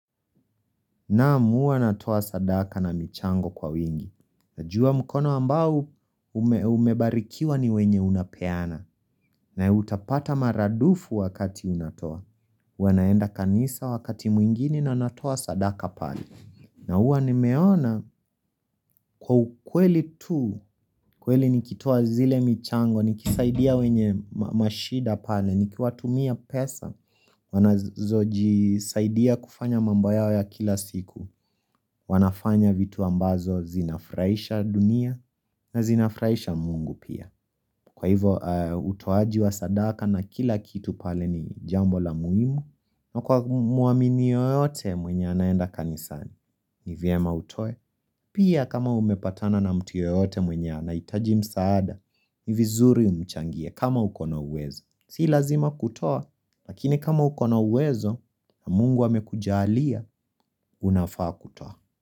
Naam huwa natoa sadaka na michango kwa wingi. Najua mkono ambao umebarikiwa ni wenye unapeana. Na utapata mara dufu wakati unatoa. Wanaenda kanisa wakati mwingine na natoa sadaka pale. Na huwa nimeona kwa ukweli tu, kweli nikitoa zile michango, nikisaidia wenye mashida pale, nikiwatumia pesa, wanazojisaidia kufanya mambo yao ya kila siku, wanafanya vitu ambazo zinafraisha dunia na zinafraisha mungu pia. Kwa hivo utoaji wa sadaka na kila kitu pale ni jambo la muimu na kwa muamini yoyote mwenye anaenda kanisani ni vyema utoe Pia kama umepatana na mtu yeyote mwenye anaitaji msaada ni vizuri umchangie kama uko na uwezo Si lazima kutoa Lakini kama uko na uwezo na mungu amekujalia Unafaa kutoa.